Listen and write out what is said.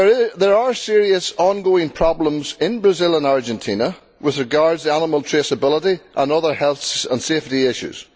There are serious ongoing problems in Brazil and Argentina with regard to animal traceability and other health and safety issues.